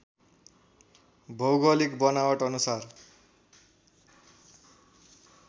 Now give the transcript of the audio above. भौगोलिक बनावट अनुसार